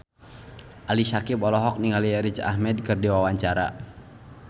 Ali Syakieb olohok ningali Riz Ahmed keur diwawancara